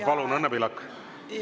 Palun, Õnne Pillak!